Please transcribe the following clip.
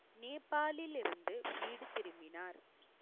நேபாளிலிருந்து, வீடு திரும்பினார்